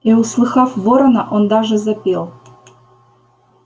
и услыхав ворона он даже запел